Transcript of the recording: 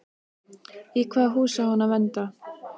Í hvaða hús á hann að venda?